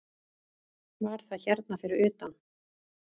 Var það hérna fyrir utan?